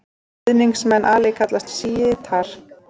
Stuðningsmenn Ali kallast sjítar.